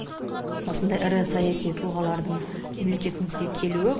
осындай ірі саяси тұлғалардың мемлекетімізге келуі